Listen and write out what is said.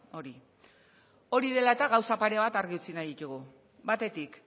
hori hori dela eta gauza pare bat argi utzi nahi ditugu batetik